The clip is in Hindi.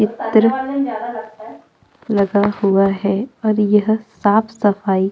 चित्र लगा हुआ है और यह साफ सफाई --